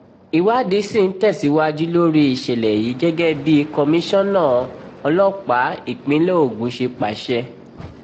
ìwádìí sì ń tẹ̀síwájú lórí ìṣẹ̀lẹ̀ yìí gẹ́gẹ́ bí kọmíṣánná ọlọ́pàá ìpínlẹ̀ ogun ṣe pàṣẹ